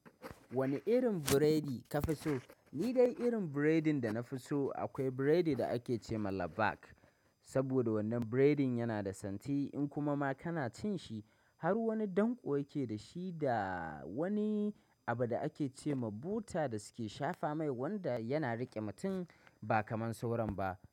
Wane irin buredi ka fi so? Ni dai irin biredin dana fi so akwai biredi da ake ce ma "Labak", saboda wannan biredin yana da santi in kuma ma kana cin shi har wani danƙo yake da shi da wani abu da ake ce ma buta da suke shafa mai wanda yana riƙe mutum ba kaman sauran ba.